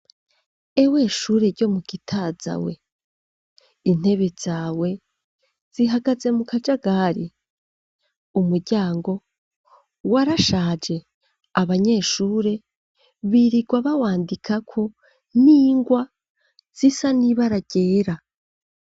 Ewe shure ryo mu gitaza we, intebe zawe zihagaze mu kajagari. Umuryango warashaje. Abanyeshure birirwa bawandika ko n'ingwa zisa n'ibara ryera.